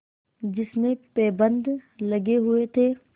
जिसमें पैबंद लगे हुए थे